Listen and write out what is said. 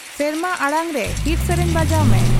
ᱥᱮᱨᱢᱟ ᱟᱲᱟᱝ ᱨᱮ ᱦᱤᱴ ᱥᱮᱨᱮᱧ ᱵᱟᱡᱟᱣ ᱢᱮ